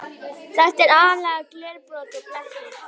Þetta er aðallega glerbrot og blettir.